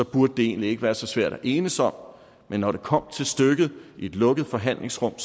burde det egentlig ikke være så svært at enes om men når det kom til stykket i et lukket forhandlingsrum